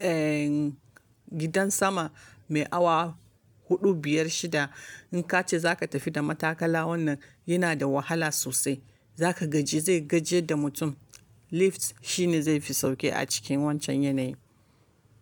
ehhhn, gidan sama mai awa huɗu, biyar, shida. In ka ce za ka tafi da matakala wannan yana da wahala sosai. Za ka gaji zai gajiyar da mutum. Lift shi ne zai fi sauƙi a cikin wancan yanayi.